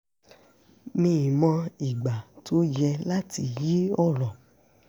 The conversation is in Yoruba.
mí mọ́ ìgbà tó yẹ láti yí ọ̀rọ̀